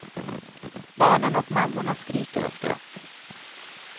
Barnen och mammorna skriker av skratt.